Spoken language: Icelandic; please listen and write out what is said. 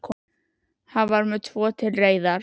Hann var með tvo til reiðar.